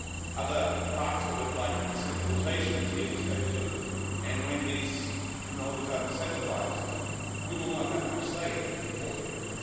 Other parts of it, like decentralisation is here to stay too, and once these technologies are decentralised we will not have much say, unfortunately.